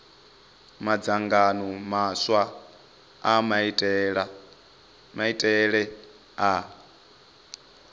madzangano maswa a maitele a